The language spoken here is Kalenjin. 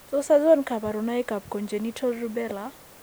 Tos achon kabarunaik ab Congenital rubella ?